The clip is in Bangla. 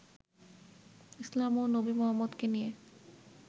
ইসলাম ও নবী মোহাম্মদকে নিয়ে